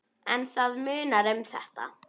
En það munar um þetta.